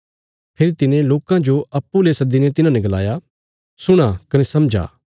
फेरी तिने लोकां जो अप्पूँ ले सद्दीने तिन्हांने गलाया सुणा कने समझा